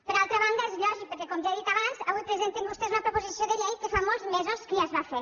per altra banda és lògic perquè com ja he dit abans avui presenten vostès una proposició de llei que fa molts mesos que ja es va fer